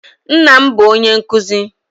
Nnem bụ onye nkuzi